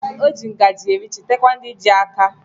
O ji ngaji eri chetakwa ndi ji aka